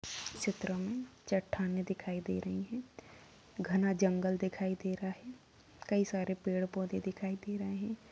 चित्र में चट्टानें दिखाई दे रही है घना जंगल दिखाई दे रहा है कई सारे पेड़-पौधे दिखाई दे रहे --